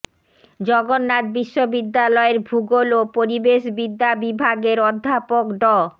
জগন্নাথ বিশ্ববিদ্যালয়ের ভূগোল ও পরিবেশ বিদ্যা বিভাগের অধ্যাপক ড